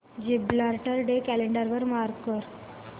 Gibraltar day calendar वर mark कर